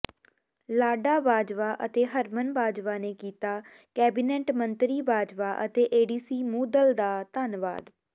ਲਾਡਾ ਬਾਜਵਾ ਅਤੇ ਹਰਮਨ ਬਾਜਵਾ ਨੇ ਕੀਤਾ ਕੈਬਨਿਟ ਮੰਤਰੀ ਬਾਜਵਾ ਅਤੇ ਏਡੀਸੀ ਮੂਧਲ ਦਾ ਧੰਨਵਾਦ